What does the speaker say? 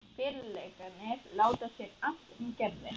Félagarnir láta sér annt um Gerði.